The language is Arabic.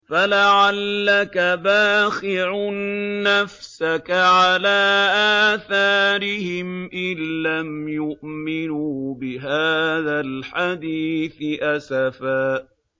فَلَعَلَّكَ بَاخِعٌ نَّفْسَكَ عَلَىٰ آثَارِهِمْ إِن لَّمْ يُؤْمِنُوا بِهَٰذَا الْحَدِيثِ أَسَفًا